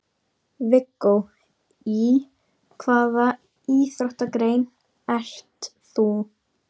Viggó: Í hvaða íþróttagrein ert þú?